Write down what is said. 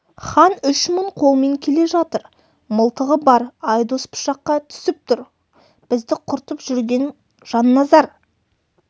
хан үш мың қолмен келе жатыр мылтығы бар айдос пышаққа түсіп тұр бізді құртып жүрген жанназар